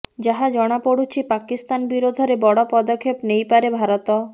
ଯାହା ଜଣାପଡୁଛି ପାକିସ୍ତାନ ବିରୋଧରେ ବଡ ପଦକ୍ଷେପ ନେଇପାରେ ଭାରତ